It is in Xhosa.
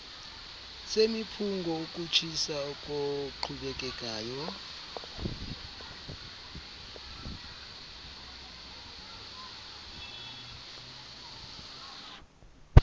semiphunga ukutshisa okoqhubekekayo